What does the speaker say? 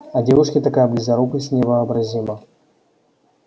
а девушке такая близорукость невообразима